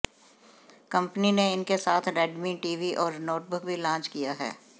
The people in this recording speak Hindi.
कंपनी ने इनके साथ रेडमी टीवी और नोटबुक भी लांच किया है